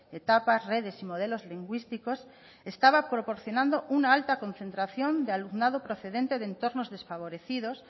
etapas redes y modelos lingüísticos estaba proporcionando una alta concentración de alumnado procedente de entornos desfavorecidos